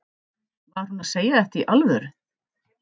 Var hún að segja þetta í alvöru?